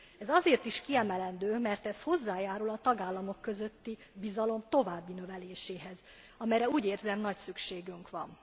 Ez azért is kiemelendő, mert ez hozzájárul a tagállamok közötti bizalom további növeléséhez, amelyre úgy érzem, nagy szükségünk van.